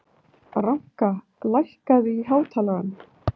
Ranka, lækkaðu í hátalaranum.